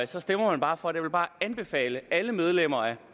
så stemmer man bare for det jeg vil bare anbefale alle medlemmer af